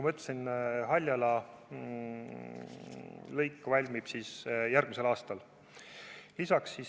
Haljala lõik valmib järgmisel aastal.